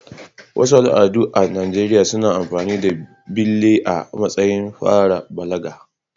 Wasu al'adu a Najeriya suna amfani da bille a matsayin fara balaga.